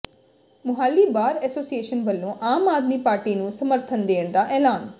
Mohali bar association ਵੱਲੋਂ Aam Aadmi party ਨੂੰ ਸਮਰਥਨ ਦੇਣ ਦਾ ਐਲਾਨ